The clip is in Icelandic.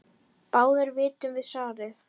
Báðir vitum við svarið